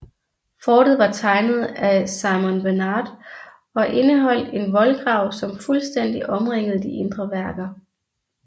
Fortet var tegnet af Simon Bernard og indeholdt en voldgrav som fuldstændig omringede de indre værker